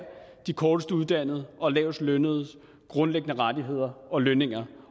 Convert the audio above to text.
de kortest uddannedes og lavest lønnedes grundlæggende rettigheder og lønninger